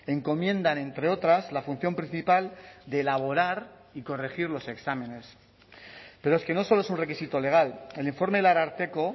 encomiendan entre otras la función principal de elaborar y corregir los exámenes pero es que no solo es un requisito legal el informe del ararteko